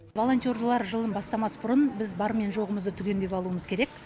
волонтерлар жылын бастамас бұрын біз бар мен жоғымызды түгендеп алуымыз керек